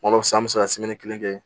Kuma dɔ la san bɛ se ka kelen kɛ